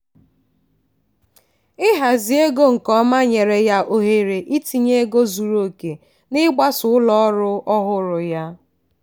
ịhazi ego nke ọma nyere ya ohere itinye ego zuru oke n'ịgbasa ụlọ ọrụ ọhụrụ ya.